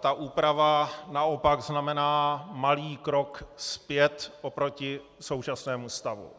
ta úprava naopak znamená malý krok zpět oproti současnému stavu.